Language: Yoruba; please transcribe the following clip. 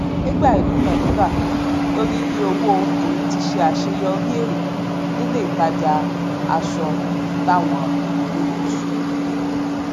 nígbà ìdúnadúrà lórí iye owóèmi ti ṣe àṣeyọrí èèrè nílé ìtajà aṣọ lawọn erekusu